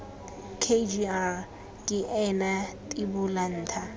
kgr ke ena tibola ntha